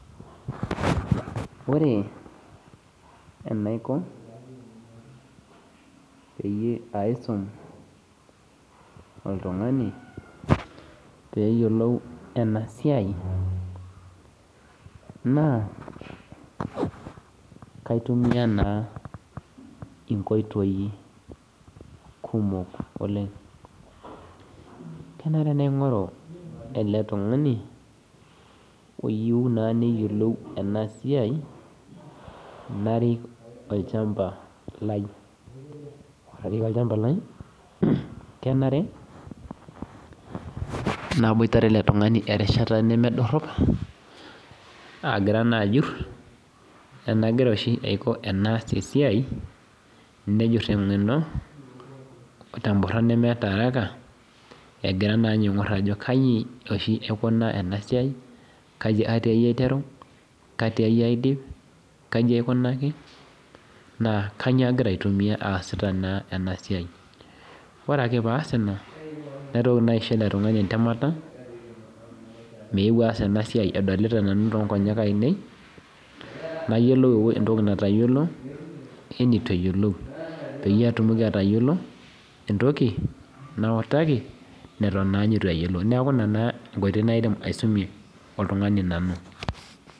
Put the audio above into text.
Ore enaiko peyie aisum oltungani peyiolou enasiai na kaitumia nkoitoi kumok oleng keyieu naingor oltungani oyieu neyiolou enasiai narik olchamba lai narik olchamba lai kenare naboitare eletungani erishata nemedoropagira na ajur enaiko oshi paboitare atii esiai nejir tengeno temnoran nemeeta arakaegira na ninye aingur ajo kai oshi aikunaa enasia, kaiboshi aiteru katiai aidip kaitia aidipaki na kanyio agira aitumia aasita enasia ore ake paas ina naitoki na aisho eletungani entemata paadol tonkonyek ainei nayiolou entoki natayiolo wenutueyiolou peyie atumoki atayiolo entoki nautaki atan nitueyiolou enkoitoi naidim iasumie oltungani nanu.